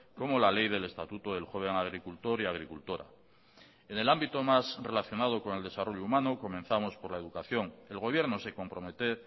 como la ley del estatuto del joven agricultor y agricultora en el ámbito más relacionado con el desarrollo humano comenzamos por la educación el gobierno se compromete